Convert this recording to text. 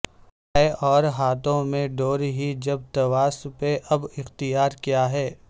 ہے اور ہاتھوں میں ڈور ہی جب تواس پہ اب اختیار کیاہے